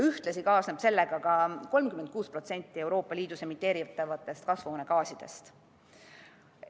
Ühtlasi kaasneb sellega ka 36% Euroopa Liidus emiteeritavatest kasvuhoonegaasidest.